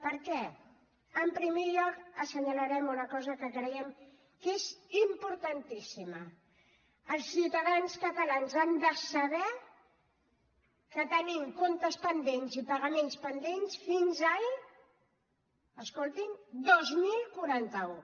per què en primer lloc assenyalarem una cosa que creiem que és importantíssima els ciutadans catalans han de saber que tenim comptes pendents i pagaments pendents fins al escoltin dos mil quaranta u